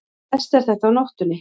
Verst er þetta á nóttunni.